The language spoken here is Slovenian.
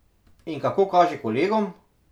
In kako kaže kolegom?